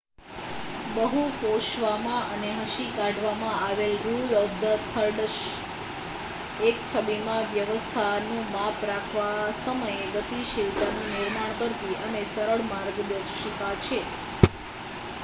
બહુ કોશવામાં અને હસી કાઢવામાં આવેલ રુલ ઓફ થર્ડસ એક છબીમાં વ્યવસ્થાનું માપ રાખવા સમયે ગતિશીલતાનું નિર્માણ કરતી એક સરળ માર્ગદર્શિકા છે